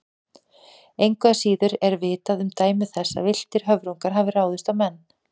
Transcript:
Engu að síður er vitað um dæmi þess að villtir höfrungar hafi ráðist á menn.